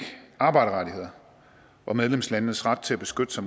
arbejderrettigheder og medlemslandenes ret til at beskytte sig